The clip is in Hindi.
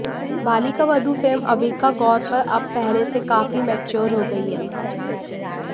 बालिका वधू फेम अविका गौर पर अब पहले से काफी मैच्योर हो गई है